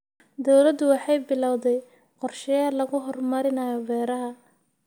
Dawladdu waxay bilawday qorshayaal lagu horumarinayo beeraha.